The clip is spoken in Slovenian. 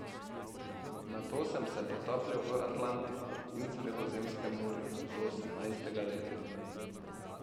Nato sem se potapljal v Atlantiku in Sredozemskem morju do osemnajstega leta.